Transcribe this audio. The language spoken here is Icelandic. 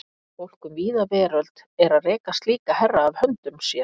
Fólk um víða veröld er að reka slíka herra af höndum sér.